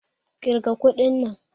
kirga kuɗin nan!